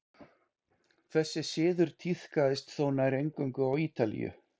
þessi siður tíðkaðist þó nær eingöngu á ítalíu